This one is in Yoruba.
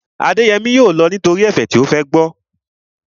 Adéyẹmí yóò lọ nítorí ẹ̀fẹ̀ tí ó fẹ́ gbọ́